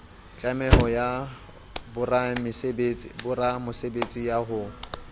tlameho ya boramosebetsi ya ho